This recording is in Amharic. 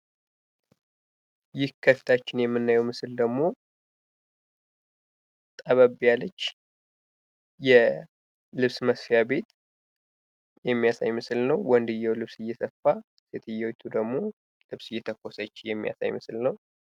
ይህ ከፊታችን የምናየው ምስል ደግሞ ጠበብ ያለች የልብስ መስፊያ ቤት የሚያሳይ ምስል ነው ። ወንድየው ልብስ እየሰፋ ሴትዮቱ ደግሞ ልብስ እየተኮሰች የሚያሳይ ምስል ነው ።